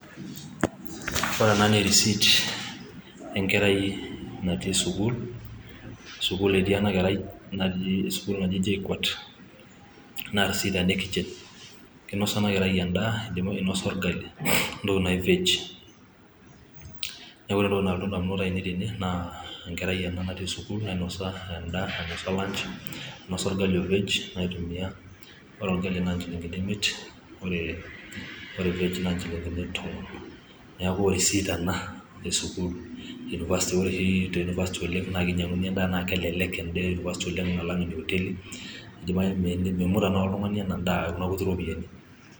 Ore ena naa erisit enkerai natii sukuul, sukuul etii ena kerai sukuul naji JKUAT naa risit ena e kitchen kinosa ena kerai endaa inosa orgali wentoki naji vej niaku ore entoki nalotu indamunot ainei tene naa enkerai ena natii sukuul nainosa endaa nainosa lunch orgali o vej aitumia ore orgali naa inchilingini imiet ore vej naa nchilingini tomon neeku erisit ena esukuul university. ore oshi te university oleng naa kinyang'uni endaa naa kelelek endaa e university oleng alang ene hoteli mimut tenakata oltung'ani ena daa ekina kuti ropiyiani.